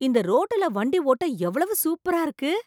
இந்த ரோட்டுல வண்டி ஓட்ட எவ்வளவு சூப்பரா இருக்கு!